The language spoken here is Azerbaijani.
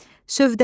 Sövdəgər,